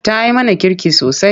Ta yi mana kirki sosai.